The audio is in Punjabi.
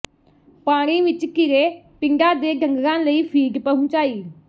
ਪਾਣੀ ਵਿੱਚ ਘਿਰੇ ਪਿੰਡਾਂ ਦੇ ਡੰਗਰਾਂ ਲਈ ਫੀਡ ਪਹੁੰਚਾਈ